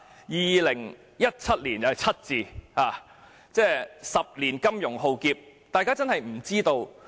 2017年有 "7" 字，每10年出現金融浩劫。